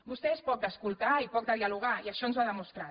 vostè és poc d’escoltar i poc de dialogar i això ens ho ha demostrat